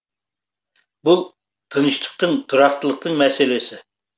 бұл тыныштықтың тұрақтылықтың мәселесі